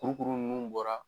Kuirukuru ninnu bɔra